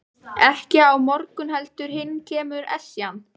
Ekki á morgun heldur hinn kemur Esjan.